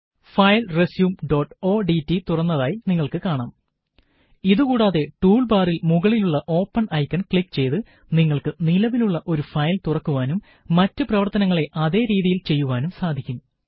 file റസ്യുംodt തുറന്നതായി നിങ്ങള്ക്ക് കാണാം ഇതു കൂടാതെ ടൂള് ബാറില് മുകളിലുള്ള ഓപ്പണ് ഐക്കണ് ക്ലിക് ചെയ്ത് നിങ്ങള്ക്ക് നിലവിലുള്ള ഒരു ഫയല് തുറക്കുവാനും മറ്റ് പ്രവര്ത്തനങ്ങള് അതേ രീതിയില് ചെയ്യുവാനും സാധിക്കും